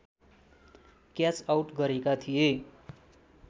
catch out गरेका थिए